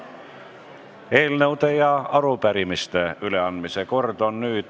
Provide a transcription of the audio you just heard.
Nüüd on eelnõude ja arupärimiste üleandmise kord.